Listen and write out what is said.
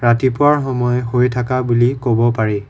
ৰাতিপুৱাৰ সময় হৈ থাকা বুলি ক'ব পাৰি।